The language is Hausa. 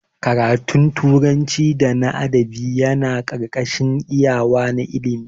Ƙaratun turanci da na adabi Yana karkashin iyawa na ilimi.